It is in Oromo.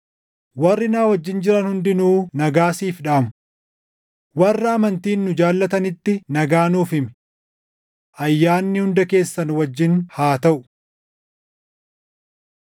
Warri na wajjin jiran hundinuu nagaa siif dhaamu. Warra amantiin nu jaallatanitti nagaa nuuf himi. Ayyaanni hunda keessan wajjin haa taʼu.